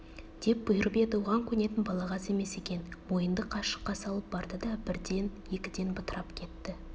деп бұйырып еді оған көнетін балағаз емес екен мойынды қашыққа салып барды да бірден-екіден бытырап кетті